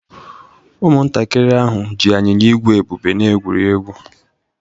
Ụmụntakịrị ahụ ji anyịnya ígwè Ebube wee egwurie egwu.